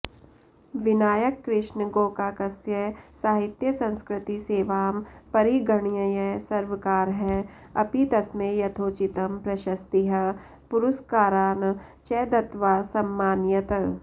विनायक कृष्ण गोकाकस्य साहित्यसंस्कृतिसेवां परिगणय्य सर्वकारः अपि तस्मै यथोचितं प्रशस्तीः पुरस्कारान् च दत्त्वा सममानयत्